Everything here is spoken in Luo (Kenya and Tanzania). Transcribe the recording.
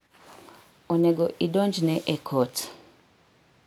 Onego idonjne e kot.